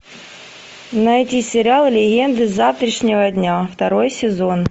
найди сериал легенды завтрашнего дня второй сезон